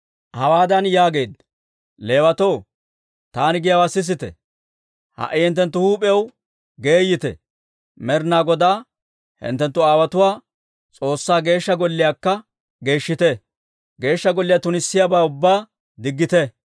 Hawaadan yaageedda; «Leewatoo, taani giyaawaa sisite! Ha"i hinttenttu huup'iyaw geeyite; Med'inaa Godaa hinttenttu aawotuwaa S'oossaa Geeshsha Golliyaakka geeshshite. Geeshsha Golliyaa tunissiyaabaa ubbaa diggite.